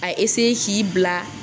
A k'i bila